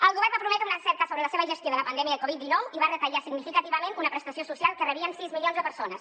el govern va prometre una cerca sobre la seva gestió de la pandèmia de covid dinou i va retallar significativament una prestació social que rebien sis milions de persones